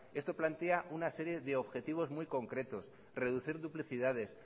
esto plantea una serie de objetivos muy concretos reducir duplicidades